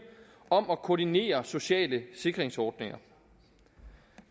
om at koordinere sociale sikringsordninger